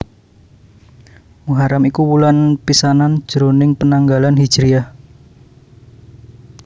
Muharram iku wulan pisanan jroning penanggalan Hijriyah